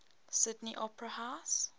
sydney opera house